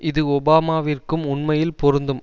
இது ஒபாமாவிற்கும் உண்மையில் பொருந்தும்